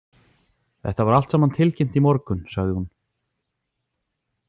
Þetta var allt saman tilkynnt í morgun, sagði hún.